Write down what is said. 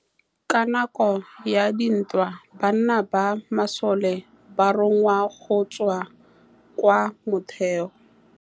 Ka nakô ya dintwa banna ba masole ba rongwa go tswa kwa mothêô.